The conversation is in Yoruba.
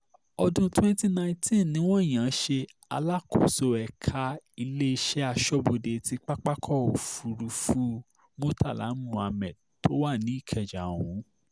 ọdún 2019 ni wọ́n yàn án ṣe alákòóso ẹ̀ka iléeṣẹ́ aṣọ́bodè ti pápákọ̀ òfurufú murtala mohammed tó wà nìkẹ́ja ọ̀hún